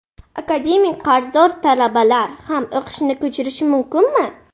Akademik qarzdor talabalar ham o‘qishini ko‘chirishi mumkinmi?